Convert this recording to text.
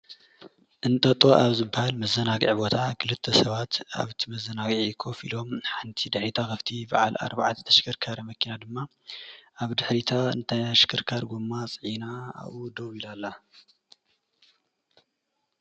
እንጠጦ ኣብ ዝበሃል መዘናግዒ ቦታ ክልተ ሰባት ኣብቲ መዘናግዒ ኮፍ ኢሎም ንሓንቲ ዳይታ ኣብቲ በዓል ኣርባዕተ ተሽከርካሪ መኪና ድማ ኣብ ድሕሪታ ተሽከርካሪ ጎማ ፅዒና ኣብኡ ደው ኢላ አላ።